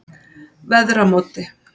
Veðramóti